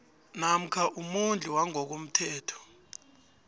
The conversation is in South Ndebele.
namkha umondli wangokomthetho